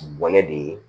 Gɛnɛ de ye